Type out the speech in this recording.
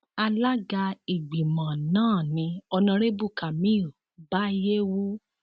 alága ìgbìmọ náà ni honarebu kamil baiyewu